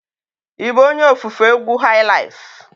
Ị bụ onye ofufe egwu highlife?